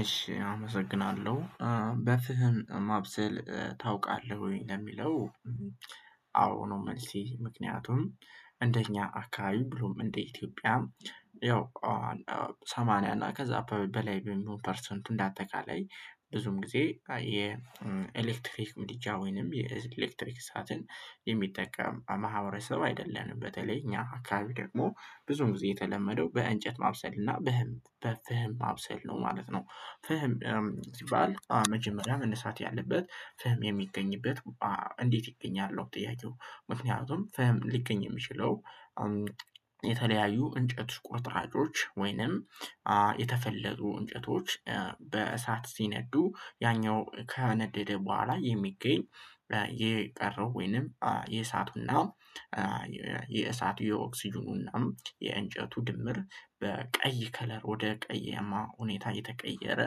እሺ አመሰግናለሁ በፍህን ማብሰል ታውቃለህ ወይ? ለሚለው አዎ ነው መልሴ ምክንያቱም እንደኛ አካባቢ ብሎም እንደ ኢትዮጵያም። ያው ሰማንያ እና ከዛ በላይ በሚሆን ፐርሰንቱ እንደ አጠቃላይ ብዙም ጊዜ የኤሌክትሪክ ምድጃ ወይንም የኤሌክትሪክ እሳትን የሚጠቀም ማህበረሰብ አይደለንም። በተለይ እኛ አካባቢ ደግሞ ብዙም ጊዜ የተለመደው በእንጨት ማብሰል እና በፍህም ማብሰል ነው ማለት ነው። ፍህም ስባል መጀመሪያ መነሳት ያለበት ፍህም የሚገኝበት እንዴት ይገኛል ነው ጥያቄው? ምክንያቱም ፍህም ሊገኝ የሚችለው። የተለያዩ እንጨት ቁርጥራጮች ወይንም የተፈለጉ እንጨቶች በእሳት ሲነዱ ያኛው ከነደደ በኋላ የሚገኝ። የቀረው ወይንም የእሳቱና የእሳቱ የኦክስጅኑና የእንጨቱ ድምር በቀይ ከለር ወደ ቀየማ ሁኔታ የተቀየረ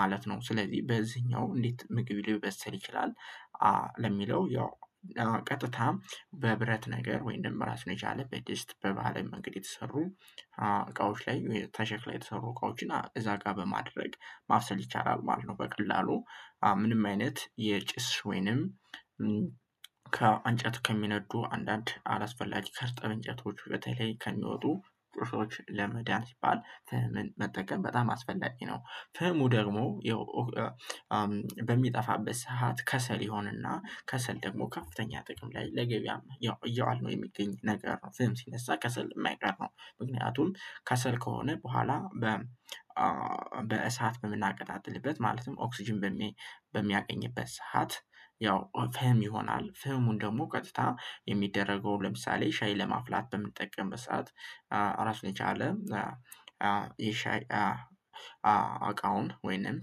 ማለት ነው። ስለዚህ በዚህኛው እንዴት ምግብ ሊበስል ይችላል? ለሚለው ያው ቀጥታ በብረት ነገር ወይም ደግሞ ራስን የቻለ በዲስት በባህላዊ መንገድ የተሰሩ እቃዎች ላይ ከሸክላ የተሰሩ እቃዎችን እዛ ጋር በማድረግ ማፍሰል ይቻላል ማለት ነው። በቀላሉ ምንም አይነት የጭስ ወይንም ከእንጨት ከሚነዱ አንዳንድ አላስፈላጅ ከርጠብ እንጨቶቹ በተለይ ከሚወጡ ጥሶች ለመዳን ሲባል ፍህምን መጠቀም በጣም አስፈላጊ ነው። ፈሙ ደግሞ። በሚጠፋበት ሰዓት ከሰል ይሆንና ከሰል ደግሞ ከፍተኛ ጥቅም ላይ ለገበያማ ያው እያዋልነው የሚገኝ ነገር ፍም ሲነሳ ከሰል የማይቀር ነው። ምክንያቱም ከሰል ከሆነ በኋላ በ በእሳት በምናቀጣጥልበት ማለትም ኦክስጅን በሚያገኝበት ሰዓት ያው ፈም ይሆናል። ፈሙን ደግሞ ቀጥታ የሚደረገው ለምሳሌ ሻይ ለማፍላት በምንጠቀምበት ሰዓት ራስ ለቻለ የሻይ እቃውን ወይንም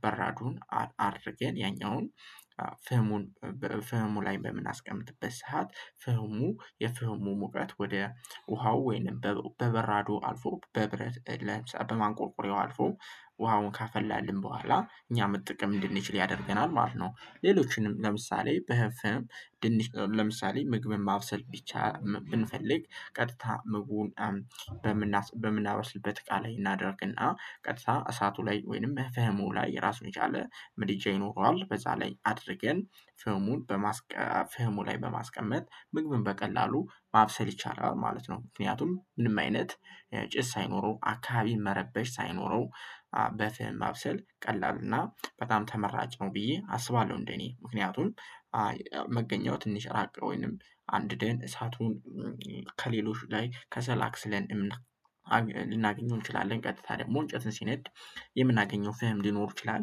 በራዱን አድርገን ያኛውን ፍህሙን ፍህሙ ላይ በምናስቀምጥበት ሰዓት ፍህሙ የፍህሙ ሙቀት ወደ ውሃው ወይንም በበራዶ አልፎ በብረት ለምሳሌ በማንቆርቆሬው አልፎ ውሃውን ካፈላልን በኋላ እኛ መጠቀም እንድንችል ያደርገናል ማለት ነው። ሌሎችንም ለምሳሌ በህፍም ድንች ለምሳሌ ምግብን ማብሰል ቢቻ ብንፈልግ ቀጥታ ምግቡን በምናበስበት እቃ ላይ እናደርግና ቀጥታ እሳቱ ላይ ወይንም መፈህሙ ላይ ራሱን የቻለ ምድጃ ይኖረዋል በዛ ላይ አድርገን ፍህሙን በማስቀመጥ ፍህሙ ላይ በማስቀመጥ ምግብን በቀላሉ ማብሰል ይቻላል ማለት ነው። ምክንያቱም ምንም አይነት ጭስ ሳይኖረው አካባቢ መረበሽ ሳይኖረው በፍም ማብሰል ቀላሉ እና በጣም ተመራጭ ነው ብዬ አስባለሁ። እንደኔ ምክንያቱን መገኘቱ ትንሽ ራቅ ወይንም አንድ ደን እሳቱን ከሌሎች ላይ ከሰላክ አክስለን ልናገኘው እንችላለን ቀጥታ ደግሞ እንጨትን ሲነድ የምናገኘው ፍም ሊኖር ይችላል።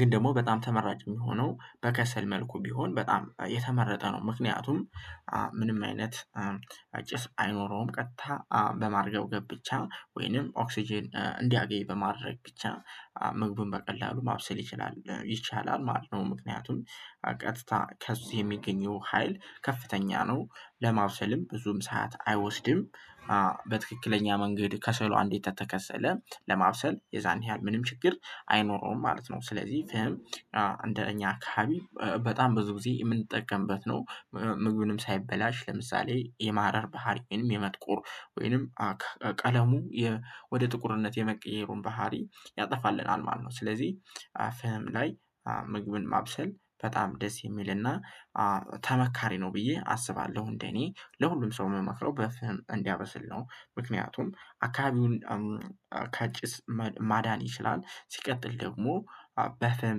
ግን ደግሞ በጣም ተመራጭ የሚሆነው በከሰል መልኩ ቢሆን በጣም የተመረጠ ነው። ምክንያቱም ምንም አይነት ጭስ አይኖረውም ቀጥታ በማርገብገብ ብቻ ወይንም ኦክስጅን እንዲያገኝ በማድረግ ብቻ ምግቡን በቀላሉ ማብሰል ይችላል ይቻላል ማለት ነው ምክንያቱም ቀጥታ ከዚህ የሚገኘው ሀይል ከፍተኛ ነው። ለማብሰልም ብዙም ሰዓት አይወስድም በትክክለኛ መንገድ ከሰሎ አንዲት ከተሰለ ለማብሰል የዛን ያህል ምንም ችግር አይኖረውም ማለት ነው። ስለዚህ ፍም እንደ እኛ አከባቢ በጣም ብዙ ጊዜ የምንጠቀምበት ነው። ምግቡንም ሳይበላሽ ለምሳሌ የማህረር ባህሪንም የመጥቁር ወይንም ቀለሙ ወደ ጥቁርነት የመቀየሩን ባህሪ ያጠፋልናል ማለት ነው። ስለዚህ ፍህም ላይ ምግብን ማብሰል በጣም ደስ የሚልና ተመካሪ ነው ብዬ አስባለሁ። እንደኔ ለሁሉም ሰው የምመክረው በፍም እንዲያበስል ነው ምክንያቱም አካባቢውን ካጭስ ማዳን ይችላል። ሲቀጥል ደግሞ በፈም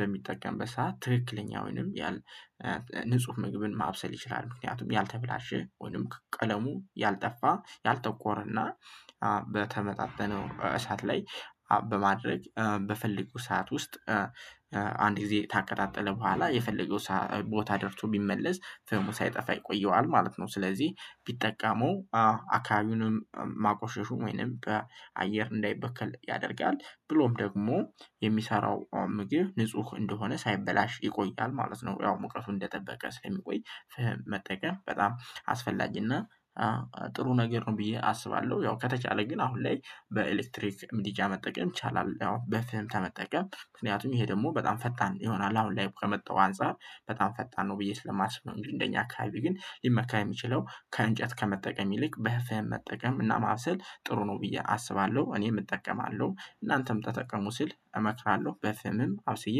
በሚጠቀም ሰዓት ትክክለኛውንም ወይንም ያል ንጹህ ምግብን ማብሰል ይችላል። ምክንያቱም ያልተበላሸ ወይም ቀለሙ ያልጠፋ ያልጠቆረና በተመጣጠነው እሳት ላይ በማድረግ በፈለጉ ሰዓት ውስጥ አንድ ጊዜ ታቀጣጥለው በኋላ የፈለገው ቦታ ደርሶ ቢመለስ ፈሙ ሳይጠፋ ይቆየዋል ማለት ነው። ስለዚህ ቢጠቀመው አካባቢውንም ማቆሸሹ ወይንም በአየር እንዳይበከል ያደርጋል ብሎም ደግሞ የሚሰራው ምግብ ንጹህ እንደሆነ ሳይበላሽ ይቆያል ማለት ነው። ያው ሙቀቱ እንደጠበቀ ስለሚቆይ ፍህም መጠቀም በጣም አስፈላጊና ጥሩ ነገር ነው ብዬ አስባለሁ። ያው ከተቻለ ግን አሁን ላይ በኤሌክትሪክ ምድጃ መጠቀም ይቻላል። ያው በፍም ከመጠቀም ምክንያቱም ይሄ ደግሞ በጣም ፈጣን ይሆናል አሁን ላይ ከመጣው አንፃር በጣም ፈጣን ነው ብዬ ስለማስብ ነው። እንግድህ እንደ እኛ አካባቢ ግን ሊመካር የሚችለው ከእንጨት ከመጠቀም ይልቅ በፈም መጠቀም እና ማብሰል ጥሩ ነው ብዬ አስባለሁ። እኔም እጠቀማለሁ እናንተም ተጠቀሙ ሲል እመክራለሁ በፈምም አብስዬ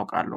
አውቃለሁ